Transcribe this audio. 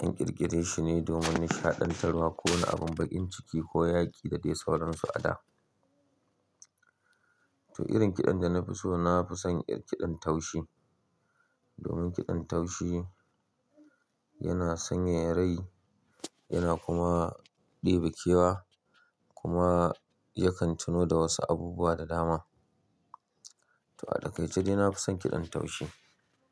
an ƙirƙire shi ne domin nishaɗantarwa, ko wani abun baƙin ciki ko yaƙi da dai sauransu a da. To irin kiɗan da na fi so, na fi son irin kiɗan taushi. Domin kiɗan taushi yana sanyaya rai yana kuma ɗebe kewa kuma yakan tuno da wasu abubuwa da dama. To a takaice dai na fi son kiɗan taushi.